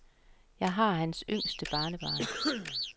Jeg var hans yngste barnebarn.